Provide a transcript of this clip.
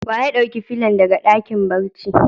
Wa ya dauki fillon daga dakin barci?